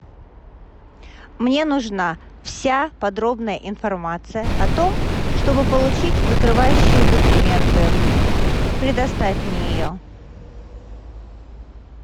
мне нужна вся подробная информация о том чтобы получить закрывающие документы предоставь мне ее